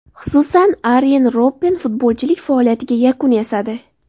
Xususan, Aryen Robben futbolchilik faoliyatiga yakun yasadi.